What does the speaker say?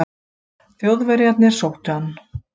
Þjóðverjarnir sóttu hann.